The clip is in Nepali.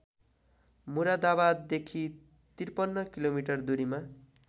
मुरादाबाददेखि ५३ किलोमिटर दूरीमा